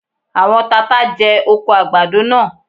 Àwọn tata jẹ oko àgbàdo náà.